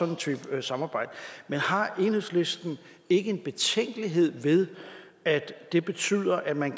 en type samarbejde men har enhedslisten ikke en betænkelighed ved at det betyder at man